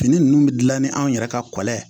Fini ninnu bɛ dilan ni anw yɛrɛ ka kɔlɔn ye